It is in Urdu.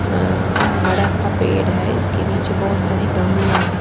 .اا بدا سا پیڈ ہیں اسکے نیچے بہت سارے گملے ہیں